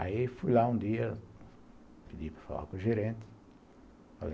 Aí fui lá um dia, pedi para falar com o gerente.